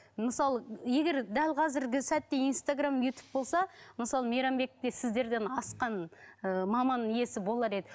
мысалы егер дәл қазіргі сәтте инстаграмм ютуб болса мысалы мейрамбекте сіздерден асқан ыыы маман иесі болар еді